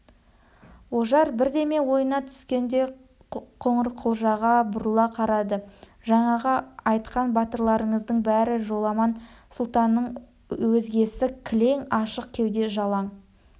ожар бірдеме ойына түскендей қоңырқұлжаға бұрыла қарады жаңағы айтқан батырларыңыздың бәрі жоламан сұлтаннан өзгесі кілең ашық кеуде жалаң